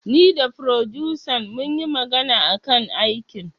Ni da furodusan munyi magana akan aikin